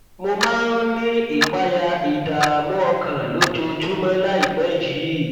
mo máa ń ní ìpayà ìdààmú ọkàn lójoojúmọ láìpẹ yìí